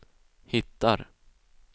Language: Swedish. hittar